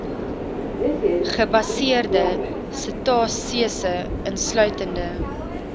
gebaseerde setasese insluitende